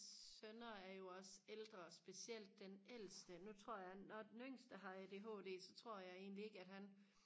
sønner er jo også ældre specielt den ældste nu tror jeg når den yngste har ADHD så tror jeg egentlig ikke at han